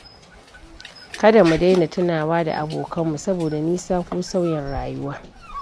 Kada mu daina tunawa da abokanmu saboda nisa ko sauyin rayuwa.